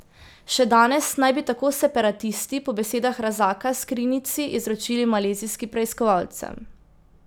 Še danes naj bi tako separatisti po besedah Razaka skrinjici izročili malezijskim preiskovalcem.